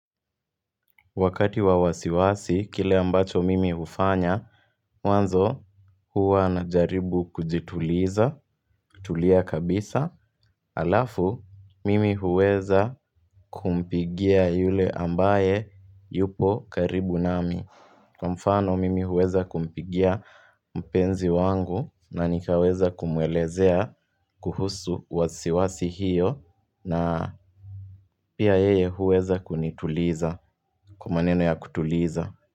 Wakati wa wasiwasi, kile ambacho mimi hufanya, mwanzo huwa najaribu kujituliza, kutulia kabisa, alafu mimi huweza kumpigia yule ambaye yupo karibu nami. Kwa mfano mimi huweza kumpigia mpenzi wangu na nikaweza kumwelezea kuhusu wasiwasi hiyo na pia yeye huweza kunituliza kwa maneno ya kutuliza.